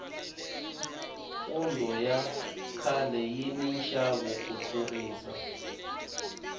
pondo ya khale yi ni nxavo ku tlurisa